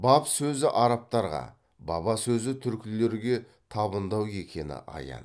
баб сөзі арабтарға баба сөзі түркілерге табындау екені аян